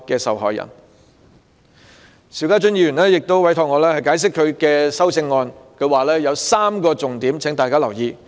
邵家臻議員亦委託我就他的修正案作出解釋，他有3個重點希望大家留意。